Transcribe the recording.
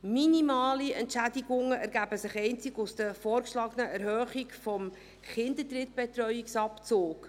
Minimale Entschädigungen ergeben sich einzig aus der vorgeschlagenen Erhöhung des Kinderdrittbetreuungsabzugs.